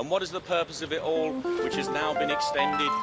And what is the purpose of it all, which has now been extended?